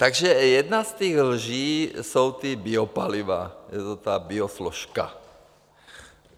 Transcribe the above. Takže jedna z těch lží jsou ta biopaliva, je to ta biosložka.